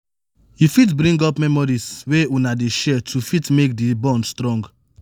you fit bring up memories wey una dey share to fit make di bond strong